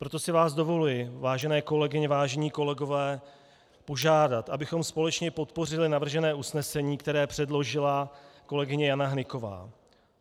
Proto si vás dovoluji, vážené kolegyně, vážení kolegové, požádat, abychom společně podpořili navržené usnesení, které předložila kolegyně Jana Hnyková.